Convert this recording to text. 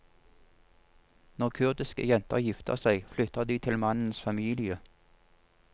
Når kurdiske jenter gifter seg, flytter de til mannens familie.